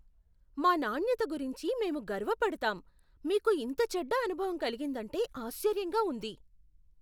మా నాణ్యత గురించి మేము గర్వపడతాం, మీకు ఇంత చెడ్డ అనుభవం కలిగిందంటే ఆశ్చర్యంగా ఉంది.